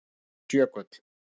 Jóhannes Jökull: Já.